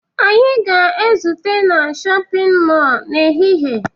Anyị ga-ezute na shọpịn mọọ n'ehihie